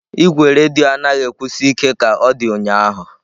Igwe redio anaghị akwụsi ike ka ọ dị ụnyahụ.